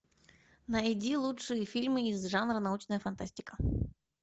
найди лучшие фильмы из жанра научная фантастика